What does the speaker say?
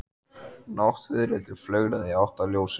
Náttfiðrildi flögraði í átt að ljósinu.